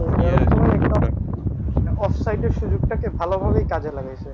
হ্যাঁ off-side এর সুযোগ টাকে ভালোভাবে কাজে লাগিয়েছে।